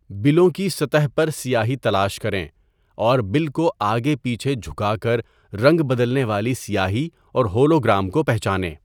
بلوں کی سطح پر سیاہی تلاش کریں اور بل کو آگے پیچھے جھکا کر رنگ بدلنے والی سیاہی اور ہولوگرام کو پہچانیں۔